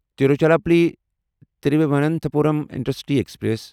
Tiruchirappalli Thiruvananthapuram intercity express